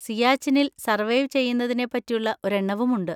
സിയാച്ചിനിൽ survive ചെയ്യുന്നതിനെ പറ്റിയുള്ള ഒരെണ്ണവും ഉണ്ട്.